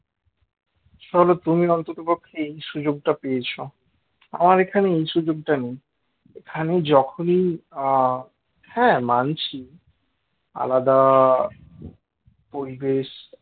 তাহলে তুমি অন্ততপক্ষে এই সুযোগটা পেয়েছো আমার এখানে এই সুযোগটা নেই এখানে যখনই আ হ্যাঁ মানছি আলাদা পরিবেশ